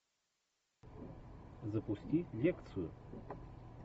запусти лекцию